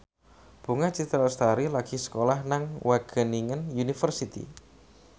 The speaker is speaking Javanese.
Bunga Citra Lestari lagi sekolah nang Wageningen University